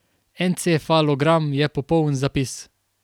Encefalogram je popoln zapis.